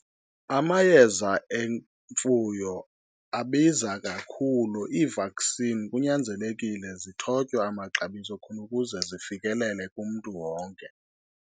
Amayeza emfuyo abiza kakhulu. I-vaccine kunyanzelekile zithotywe amaxabiso khona ukuze zifekelele kumntu wonke.